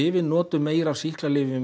við notum meira af sýklalyfjum